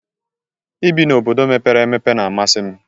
Ị bi na obodo mepere emepe n'amasi m